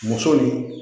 Muso ni